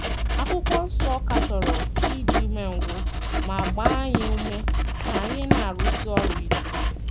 Akwụkwọ Nsọ katọrọ ịdị umengwụ ma gbaa anyị ume ka anyị na - arụsi ọrụ ike.